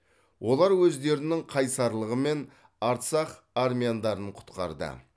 олар өздерінің қайсарлығымен арцах армяндарын құтқарды